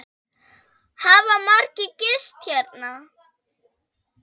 Hafa margir gist hérna?